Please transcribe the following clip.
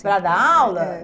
Para dar aula? É, é, é